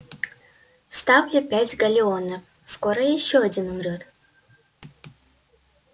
ставлю пять галлеонов скоро ещё один умрёт